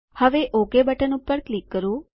હવે okay button પર click કરો